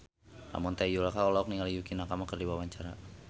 Ramon T. Yungka olohok ningali Yukie Nakama keur diwawancara